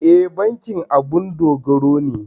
E, bankin abun dogaro ne.